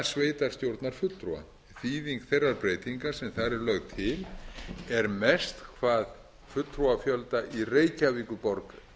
sveitarstjórnarfulltrúa þýðing þeirrar breytingar menn þar er lögð til er mest hvað fulltrúafjölda í reykjavíkurborg